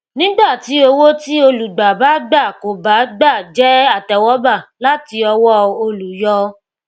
nígbà tí owó tí olùgbà bá gbà kò bá gbà jẹ àtẹwọgbà láti ọwọ olùyọ